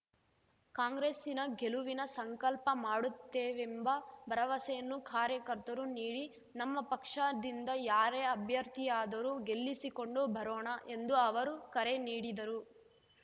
ಕಾಂಗ್ರೆಸ್ಸಿನ ಗೆಲುವಿನ ಸಂಕಲ್ಪ ಮಾಡುತ್ತೇವೆಂಬ ಭರವಸೆಯನ್ನು ಕಾರ್ಯಕರ್ತರು ನೀಡಿ ನಮ್ಮ ಪಕ್ಷದಿಂದ ಯಾರೇ ಅಭ್ಯರ್ಥಿಯಾದರೂ ಗೆಲ್ಲಿಸಿಕೊಂಡು ಬರೋಣ ಎಂದು ಅವರು ಕರೆ ನೀಡಿದರು